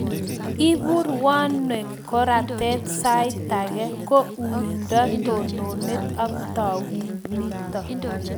Ipu rwonwek, koratet, saitake ko uindop tononet ak tanuito